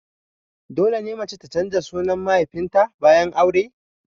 Dole ne mace ta canza sunan mahaifin ta bayan aure?